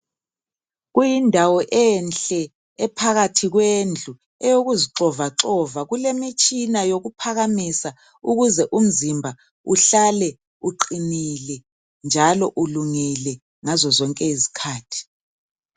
Kuyindawo enhle ephakathi kwendlu, eyokuzixovaxova. Kulemitshina yokuphakamisa ukuze umzimba uhlale uqinile njalo ulungile ngazo zonke izikhathi.